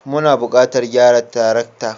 Muna buƙatar gyara tarakta.